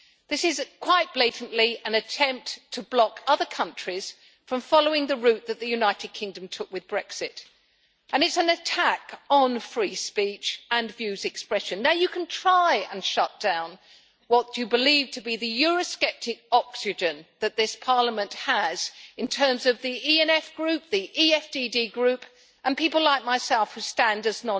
This is quite blatantly an attempt to block other countries from following the route that the United Kingdom took with Brexit, and it is an attack on free speech and views expressed there. Now you can try to shut down what you believe to be the eurosceptic oxygen that this Parliament has, in terms of the ENF Group, the EFDD Group, and people like myself who stand as